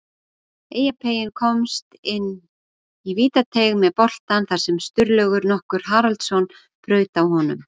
Eyjapeyinn komst inn í vítateig með boltann þar sem Sturlaugur nokkur Haraldsson braut á honum.